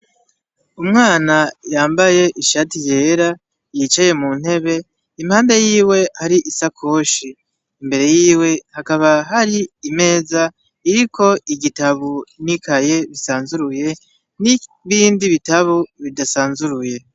Umwana yambaye ishati yera, yicaye mu ntebe, impande yiwe hari isakoshi, imbere yiwe hakaba hari imeza iriko igitabo n'ikaye bisanzuruye n'ibindi bitabo bidasanzuruye.